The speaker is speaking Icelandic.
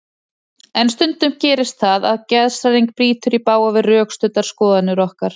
En stundum gerist það að geðshræring brýtur í bága við rökstuddar skoðanir okkar.